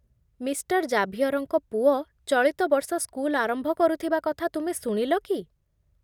Mister ଜାଭିୟରଙ୍କ ପୁଅ ଚଳିତ ବର୍ଷ ସ୍କୁଲ ଆରମ୍ଭ କରୁଥିବା କଥା ତୁମେ ଶୁଣିଲ କି?